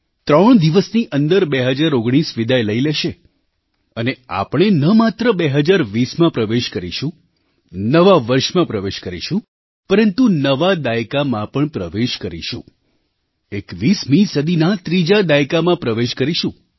ત્રણ દિવસની અંદર 2019 વિદાય લઈ લેશે અને આપણે ન માત્ર 2020માં પ્રવેશ કરીશું નવા વર્ષમાં પ્રવેશ કરીશું પરંતુ નવા દાયકામાં પણ પ્રવેશ કરીશું 21મી સદીના ત્રીજા દાયકામાં પ્રવેશ કરીશું